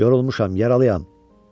Yorulmuşam, yaralıyam.